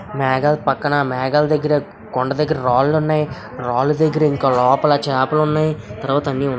కుడిలోనే నీరు నే కొండమీద ఆకాశం ఉంది. ఆకాశంలో మేఘాలు ఉన్నాయి. మేఘ పక్కన మేఘ దగ్గర కొండ దగ్గిరాలోనే రాజశేఖర్ ఇంకా లోపలికి ఆపుకుని నవ్వు--